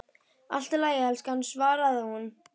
Allt í lagi, elskan, svaraði hún.